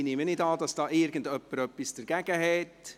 Ich nehme nicht an, dass irgendjemand etwas dagegen hat.